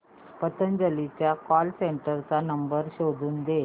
पतंजली च्या call centre चा number शोधून दे